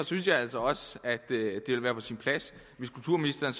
synes jeg altså at det ville være på sin plads hvis kulturministeren